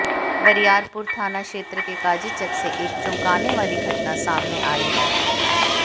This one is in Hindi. बरियारपुर थाना क्षेत्र के काजीचक से एक चौंकाने वाली घटना सामने आई है